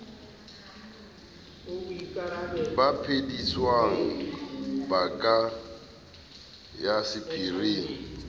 baphedisuwa ba ka ya sephiring